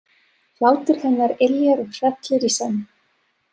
Hlátur hennar yljar og hrellir í senn.